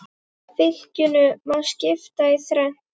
Fylkinu má skipta í þrennt.